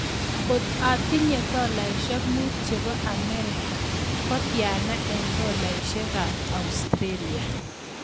Kot atinye tolaisiek muut che po Amerika ko tyana eng' tolaisiekab Australia